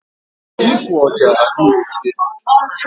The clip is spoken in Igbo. Ịfụ ọja adịghị mfe.